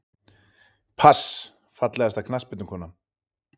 pass Fallegasta knattspyrnukonan?